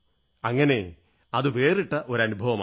അങ്ങനെ അതൊരു വേറിട്ട അനുഭവമായി